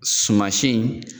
Suma si in